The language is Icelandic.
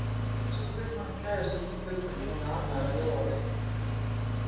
Lalli sá kaupmanninn gægjast út um gluggann og horfa ánægður á Jóa vinna.